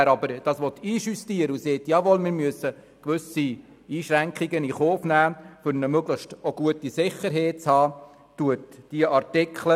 wer justieren will und zugunsten einer möglichst guten Sicherheit gewisse Einschränkungen in Kauf nimmt, der unterstützt diese Artikel.